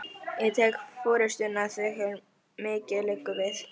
Ég tek forystuna, þegar mikið liggur við!